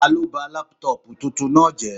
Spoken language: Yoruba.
Taló ba lápútọ̀pù tuntun náà jẹ́?